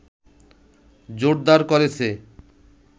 জোরদার করেছে